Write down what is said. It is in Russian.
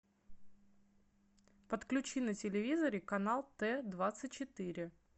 подключи на телевизоре канал т двадцать четыре